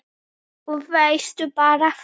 Og veistu bara hvað